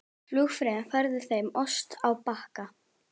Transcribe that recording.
Flugfreyjan færði þeim ost á bakka.